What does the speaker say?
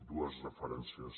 dues referències